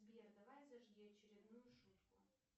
сбер давай зажги очередную шутку